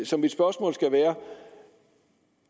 så mit spørgsmål skal være